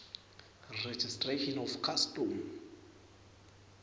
registration of custom